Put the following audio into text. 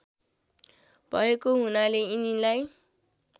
भएको हुनाले यिनीलाई